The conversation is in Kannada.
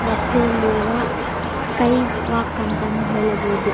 ರಸ್ತೆಯಲ್ಲಿರುವ ಸ್ಕೈ ವಾಕ್ ಅಂತ ಹೇಳಬಹುದು.